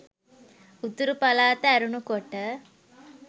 උතුරු පළාත ඇරුණු කොට